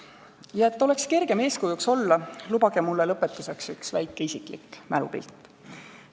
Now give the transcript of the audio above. Ja et oleks kergem eeskujuks olla, lubage mulle lõpetuseks üks väike isiklik mälupilt.